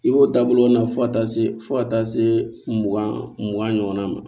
I b'o dabɔ o la fo ka taa se fo ka taa se mugan mugan ɲɔgɔnna ma